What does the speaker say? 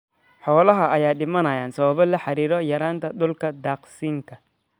Xoolaha ayaa dhimanaya sabab la xiriira yaraanta dhulka daaqsinka.